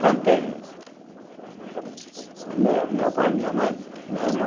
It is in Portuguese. Plantei. Me meu pai, minha mãe, meu irmão.